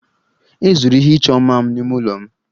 E zuru ihe ịchọ mma m n'ime ụlọ m